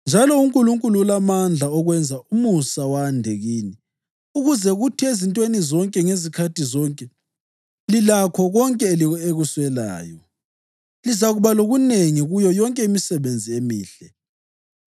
Njalo uNkulunkulu ulamandla okwenza umusa wande kini ukuze kuthi ezintweni zonke ngezikhathi zonke, lilakho konke elikuswelayo, lizakuba lokunengi kuyo yonke imisebenzi emihle.